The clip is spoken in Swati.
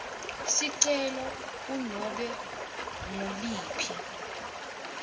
sicelo kunobe nguliphi